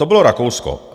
To bylo Rakousko.